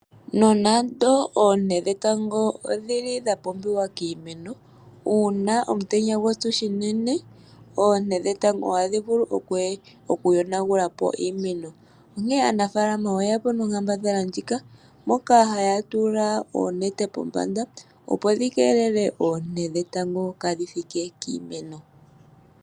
Nonando oonte dhetango odhi li dha pumbiwa kiimeno uuna omutenya gwapyu shinene, oonte dhetango oha dhi vulu okuyonagulapo iimeno onkene aanafalama oye yapo nonkambadhala ndjika moka haya tula oonete pombanda opo dhi keelele oonte dhetango kaadhi thike kiimeno.